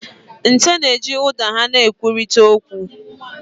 Nte na-eji ụda ha na-ekwurịta okwu.